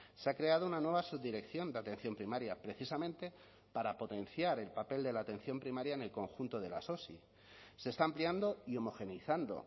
se ha creado una nueva subdirección de atención primaria precisamente para potenciar el papel de la atención primaria en el conjunto de las osi se está ampliando y homogeneizando